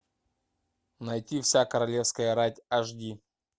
найти вся королевская рать аш ди